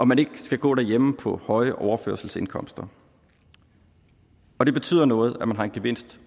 man ikke skal gå derhjemme på høje overførselsindkomster og det betyder noget at man har en gevinst